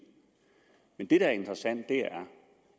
det der er interessant er